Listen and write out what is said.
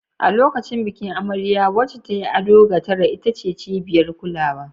A lokacin bikin, amarya, wacce ta yi ado ga tara, ita ce cibiyar kulawa.